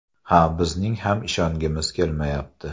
Ha, bizning ham ishongimiz kelmayapti.